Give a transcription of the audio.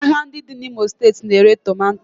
Ahịa ndị dị n'Imo steeti na-ere tomato